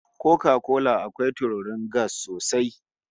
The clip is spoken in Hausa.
Koka kola akwai tururin gas sosai